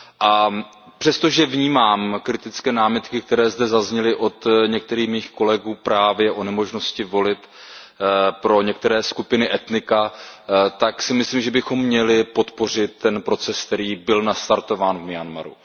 A přesto, že vnímám kritické námitky, které zde zazněly od některých mých kolegů právě o nemožnosti volit pro některá etnika, tak si myslím, že bychom měli podpořit ten proces, který byl nastartován v Myanmaru.